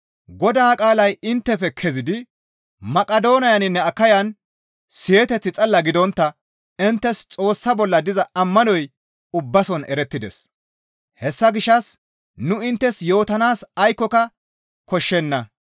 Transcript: Godaa qaalay inttefe kezidi Maqidooniyaninne Akayan siyeteth xalla gidontta inttes Xoossa bolla diza ammanoy ubbason erettides; hessa gishshas nu inttes yootanaas aykkoka koshshenna.